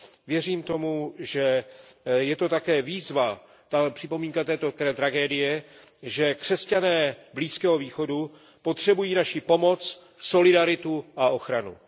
Věřím tomu, že je to také výzva, tahle připomínka této tragédie, že křesťané Blízkého východu potřebují naší pomoc, solidaritu a ochranu.